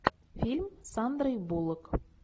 фильм с сандрой буллок